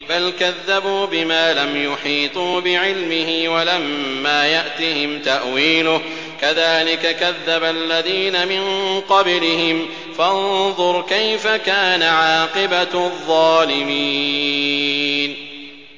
بَلْ كَذَّبُوا بِمَا لَمْ يُحِيطُوا بِعِلْمِهِ وَلَمَّا يَأْتِهِمْ تَأْوِيلُهُ ۚ كَذَٰلِكَ كَذَّبَ الَّذِينَ مِن قَبْلِهِمْ ۖ فَانظُرْ كَيْفَ كَانَ عَاقِبَةُ الظَّالِمِينَ